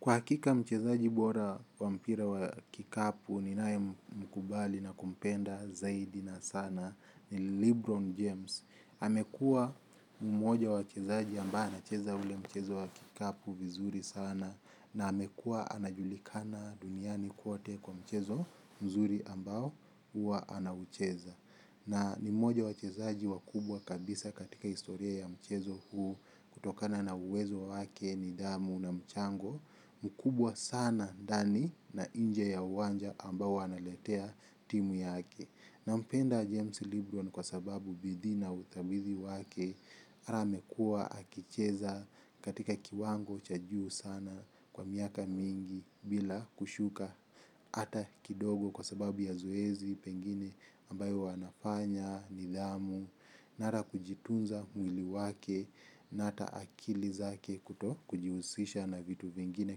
Kwa hakika mchezaji bora wa mpira wa kikapu ninayemkubali na kumpenda zaidi na sana ni Lebron James. Amekua mmoja wa wachezaji ambaye anacheza ule mchezo wa kikapu vizuri sana na amekua anajulikana duniani kwote kwa mchezo mzuri ambao hua anaucheza. Na ni mmoja wa wachezaji wakubwa kabisa katika historia ya mchezo huo kutokana na uwezo wake nidhamu na mchango mkubwa sana ndani na inje ya uwanja ambao huwa analetea timu yake. Nampenda James Libroon kwa sababu bidhi na utabidi wake ara amekua akicheza katika kiwango cha juu sana kwa miaka mingi bila kushuka ata kidogo kwa sababu ya zoezi pengine ambayo wanafanya, nidhamu, na hara kujitunza mwili wake na ata akili zake kuto kujiusisha na vitu vingine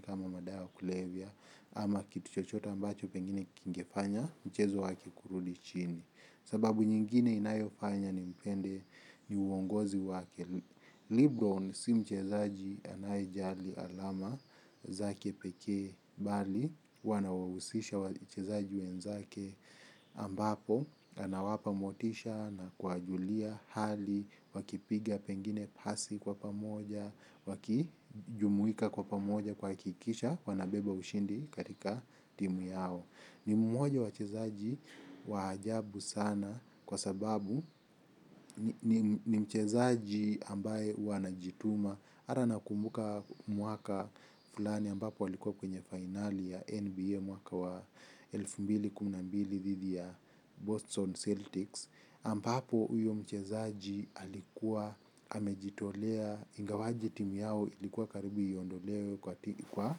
kama madawa ya kulevya. Ama kitu chochota ambacho pengine kingefanya mchezo wake kurudi chini. Sababu nyingine inayofanya nimpende ni uongozi wake Libron si mchezaji anayejali alama zake peke bali huwa anawausisha wachezaji wenzake ambapo anawapa motisha na kuwajulia hali. Wakipiga pengine pasi kwa pamoja. Wakijumuika kwa pamoja kuhakikisha wanabeba ushindi katika timu yao. Ni mmoja wa wachezaji wa ajabu sana. Kwa sababu ni mchezaji ambaye huwa anajituma hata nakumbuka mwaka fulani ambapo alikuwa kwenye fainali ya NBA mwaka wa elfu mbili kumi na mbili dhidi ya Boston eltics ambapo huyo mchezaji alikua amejitolea ingawaje timu yao ilikua karibu iondolewe katika kwa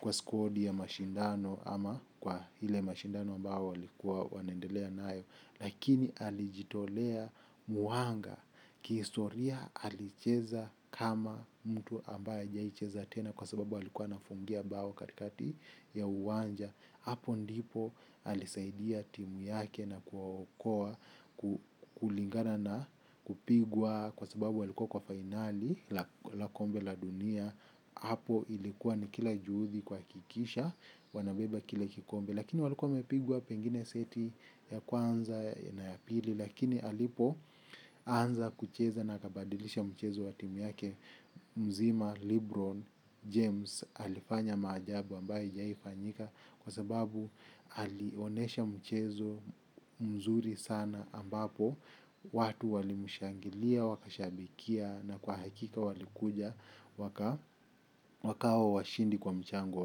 kwa skodi ya mashindano ama kwa hile mashindano ambao walikuwa wanaendelea nayo lakini alijitolea mwanga kihistoria alicheza kama mtu ambaye hajawahi cheza tena kwa sbabu alikua anafungia bao katikati ya uwanja hapo ndipo alisaidia timu yake na kuwaokoa kulingana na kupigwa kwa sababu alikua kwa fainali la kombe la dunia hapo ilikuwa ni kila juhudhi kuhakikisha wanabeba kile kikombe lakini walikuwa wamepigwa pengine seti ya kwanza na ya pili lakini alipo anza kucheza na akabadilisha mchezo wa timu yake mzima Libron James alifanya maajabu ambayo haijaifanyika kwa sababu alionesha mchezo mzuri sana ambapo watu walimushangilia wakashabikia na kwa hakika walikuja wakawa washindi kwa mchango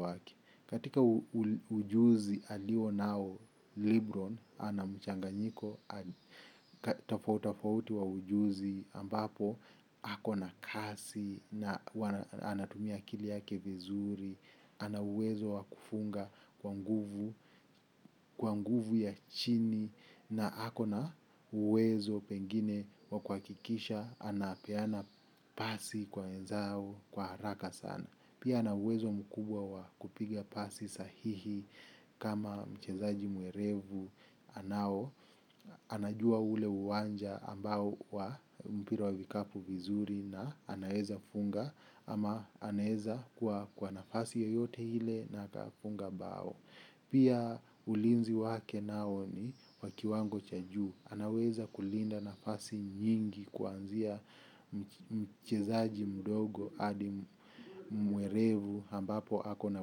wake katika ujuzi alionao Libron, ana mchanganyiko tafautafauti wa ujuzi ambapo hako na kasi, na anatumia akili yake vizuri ana uwezo wa kufunga kwa nguvu kwa nguvu ya chini na ako na uwezo pengine wa kuhakikisha anapeana pasi kwa wenzao kwa haraka sana. Pia ana uwezo mkubwa wa kupiga pasi sahihi. Kama mchezaji mwerevu anao. Anajua ule uwanja ambao wa mpira wa vikapu vizuri. Na anaweza funga ama anaweza kuwa kwa nafasi yoyote ile na akafunga bao. Pia ulinzi wake nao ni wa kiwango cha juu. Anaweza kulinda nafasi nyingi kwanzia mchezaji mdogo Adi mwerevu ambapo ako na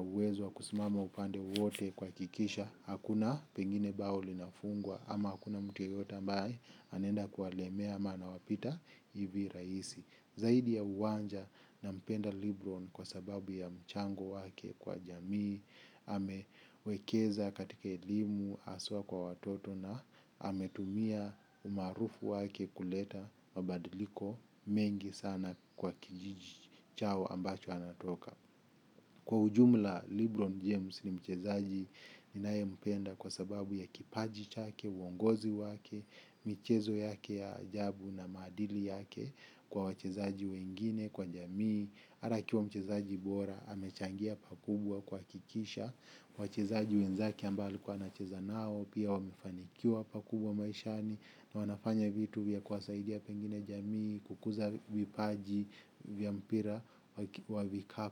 uwezo wa kusimama upande wowote kuhakikisha hakuna pengine bao linafungwa. Ama hakuna mtu yeyote ambaye anenda kuwalemea ama anawapita hivi raisi. Zaidi ya uwanja nampenda Libron Kwa sababu ya mchango wake. Kwa jamii amewekeza katika elimu haswa kwa watoto na ametumia umaarufu wake kuleta mabadiliko mengi sana kwa kijiji chao ambacho anatoka. Kwa ujumla Libron James ni mchezaji ninayempenda kwa sababu ya kipaji chake, uongozi wake, michezo yake ya ajabu na maadili yake kwa wachezaji wengine, kwa jamii. Ara akiwa mchezaji bora, amechangia pakubwa kuhakikisha wachezaji wenzake ambao alikua anacheza nao pia wamefanikiwa pakubwa maishani na wanafanya vitu vya kuwasaidia pengine jamii, kukuza vipaji, vya mpira wa vikapu.